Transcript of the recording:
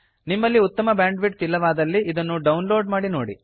ನಿಮ್ಮಲ್ಲಿ ಉತ್ತಮ ಬ್ಯಾಂಡ್ವಿಡ್ಥ್ ಇಲ್ಲವಾದಲ್ಲಿ ಇದನ್ನು ಡೌನ್ಲೋಡ್ ಮಾಡಿ ನೋಡಿ